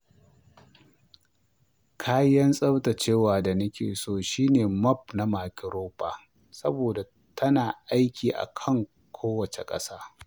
Kayan tsaftacewa da nake so shine mop na microfiber saboda tana aiki a kan kowace ƙasa.